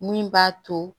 Min b'a to